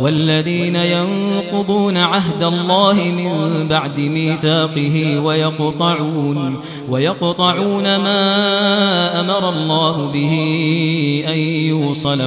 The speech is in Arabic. وَالَّذِينَ يَنقُضُونَ عَهْدَ اللَّهِ مِن بَعْدِ مِيثَاقِهِ وَيَقْطَعُونَ مَا أَمَرَ اللَّهُ بِهِ أَن يُوصَلَ